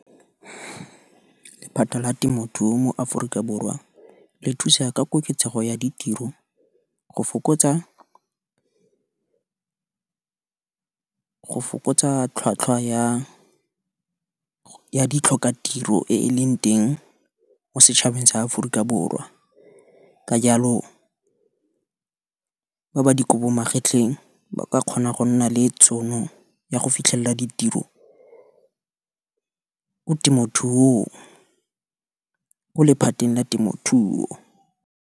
Lephata la temothuo mo Aforika Borwa le thusa ka koketsego ya ditiro, go fokotsa tlhwatlhwa ya di tlhoka tiro e e leng teng, mo setšhabeng sa Aforika Borwa, ka jalo ba ba dikobo magetlheng, ba kgona go nna le tšhono, ya go fitlhelela ditiro, mo temothuong, mo lephateng la temothuo.